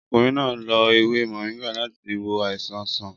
Ọkùnrin náà lo ewé moringa láti wo àìsàn sàn